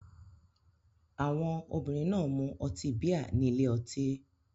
Àwọn obìnrin náà ń mu ọtí bíà ní ile-ọtí.